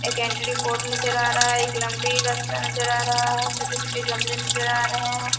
एक entry board नजर आ रहा है एक लंबी रास्ता नजर आ रहा है छोटे-छोटे गमले नजर आ रहे हैं।